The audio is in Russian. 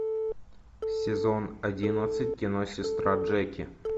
сезон одиннадцать кино сестра джеки